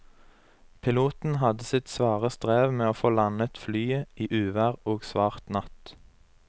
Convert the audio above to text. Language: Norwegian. Piloten hadde sitt svare strev med å få landet flyet i uvær og svart natt.